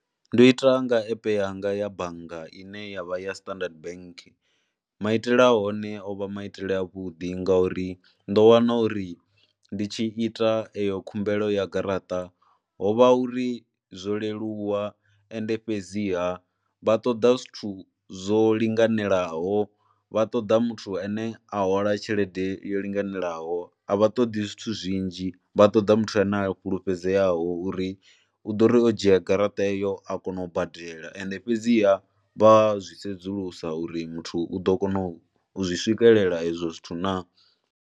Ndo ita nga app yanga ya bannga ine ya vha ya Standard Bank, maitele a hone o vha maitele avhuḓi ngauri ndo wana uri ndi tshi ita iyo khumbelo ya garaṱa ho vha uri zwo leluwa ende fhedziha vha ṱoḓa zwithu zwo linganelaho, vha ṱoḓa muthu ane a hwala tshelede yo linganelaho, a vha ṱoḓi zwithu zwinzhi. Vha ṱoḓa muthu ane a fulufhedzeaho uri u ḓo ri u dzhia garaṱa iyo a kona u badela ende fhedziha vha zwi sedzulusa uri muthu u ḓo kona u zwi swikelela ezwo zwithu naa.